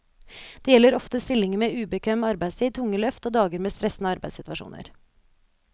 Det gjelder ofte stillinger med ubekvem arbeidstid, tunge løft og dager med stressende arbeidssituasjoner.